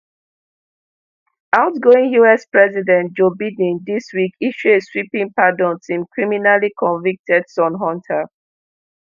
outgoing us president joe biden dis week issue a sweeping pardon to im criminally convicted son hunter